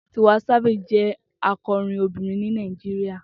Tiwa Savage jẹ akọrin obinrin ni Naijiria.